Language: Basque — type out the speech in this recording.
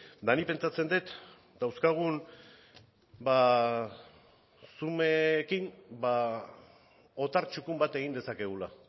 nik pentsatzen dut dauzkagun otar txukun bat egin dezakegula